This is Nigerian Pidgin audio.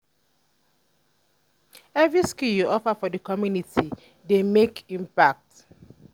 evri skill yu offer to di community dey mek impact.